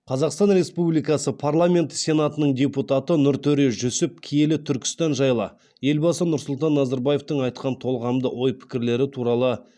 қазақстан республикасы парламенті сенатының депутаты нұртөре жүсіп киелі түркістан жайлы елбасы нұрсұлтан назарбаевтың айтқан толғамды ой пікірлері туралы